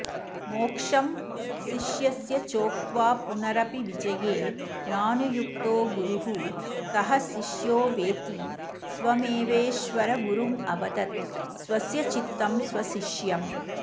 मोक्षं शिष्यस्य चोक्त्वापुनरपिविजये नानुयुक्तो गुरुः कः शिष्योवेति स्वमेवेश्वरगुरुमवदत् स्वस्यचित्तं स्वशिष्यम्